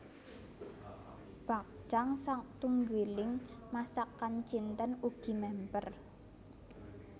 Bakcang satunggiling masakan Cinten ugi mèmper